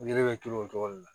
Yiri bɛ turu o cogo de la